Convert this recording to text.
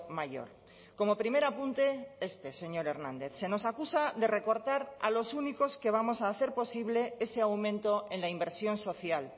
mayor como primer apunte este señor hernández se nos acusa de recortar a los únicos que vamos a hacer posible ese aumento en la inversión social